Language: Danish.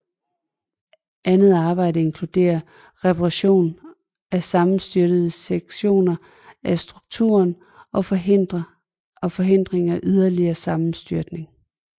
Andet arbejde inkluderer reparation af sammenstyrtede sektioner af strukturen og forhindring af yderligere sammenstyrtning